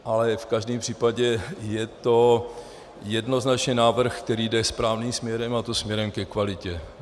Ale v každém případě je to jednoznačně návrh, který jde správným směrem, a to směrem ke kvalitě.